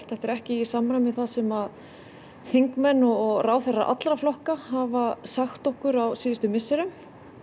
þetta er ekki í samræmi við það sem þingmenn og ráðherrar allra flokka hafa sagt okkur á síðustu misserum